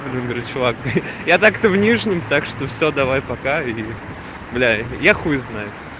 например человек я так то внешним так что все давай пока видео для я хуй знает